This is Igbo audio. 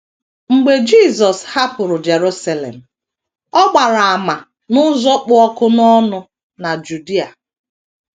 Mgbe Jisọs hapụrụ Jerusalem, ọ gbara àmà n’ụzọ kpụ ọkụ n’ọnụ na Judia.